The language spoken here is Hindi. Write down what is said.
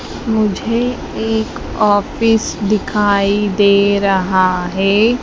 मुझे एक ऑफिस दिखाई दे रहा है मुझे एक ऑफिस दिखाई दे रहा है।